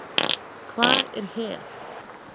Hvað er hel?